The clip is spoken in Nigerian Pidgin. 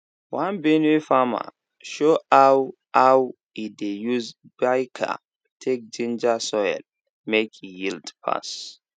one benue farmer show how how e dey use biochar take ginger soil make e yield pass